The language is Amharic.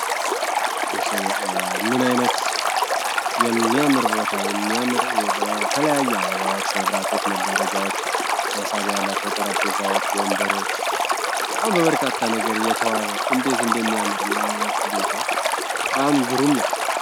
ምን አይነት የሚያምር ቦታ የሚያምር በተለያዩ አበቦች መብራቶች መጋረጃዎች መሳቢያቸው ጠረጴዛዎች ወንበሮች ነገር እንዴት እንደሚያምርም አይነት ቤቱ አም ግሩም ነው